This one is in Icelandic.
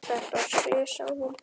Þetta var slys, sagði hún.